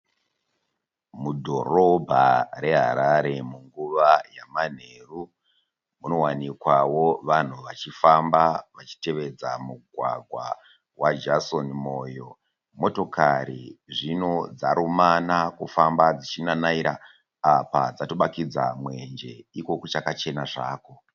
Mudhorobha reHarare munguva yamanheru munowanikwawo vanhu vachifamba vachitevedza mugwagwa waJaison Moyo. Motokari zvino dzarumana kufamba dzichinanaira apa dzatobakidza mwenje iko kuchaka chena zvako